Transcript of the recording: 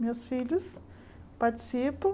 Meus filhos participam.